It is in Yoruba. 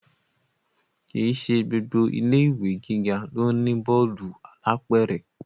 Kì í ṣe gbogbo ilé ìwé gíga ló ní bọ́ọ̀lù alápẹ̀rẹ̀